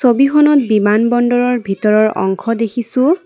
ছবিখনত বিমান বন্দৰৰ ভিতৰৰ অংশ দেখিছোঁ।